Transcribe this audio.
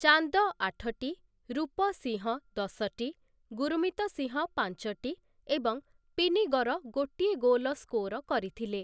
ଚାନ୍ଦ ଆଠଟି, ରୂପ ସିଂହ ଦଶଟି, ଗୁରମୀତ ସିଂହ ପାଞ୍ଚଟି ଏବଂ ପିନିଗର ଗୋଟିଏ ଗୋଲ ସ୍କୋର କରିଥିଲେ ।